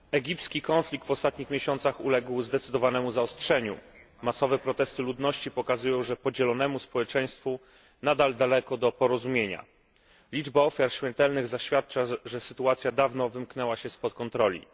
Panie Przewodniczący! Egipski konflikt w ostatnich miesiącach uległ zdecydowanemu zaostrzeniu. Masowe protesty ludności pokazują, że podzielonemu społeczeństwu nadal daleko do porozumienia. Liczba ofiar śmiertelnych zaświadcza, że sytuacja dawno wymknęła się spod kontroli.